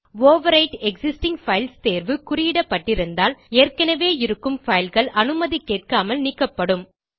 overwrite existing files தேர்வு குறியிடப்பட்டிருந்தால் ஏற்கனவே இருக்கும் fileகள் அனுமதி கேட்காமல் நீக்கப்படும்